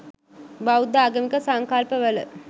බෞද්ධ ආගමික සංකල්පවල